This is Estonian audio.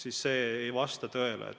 Aga see ei vasta tõele.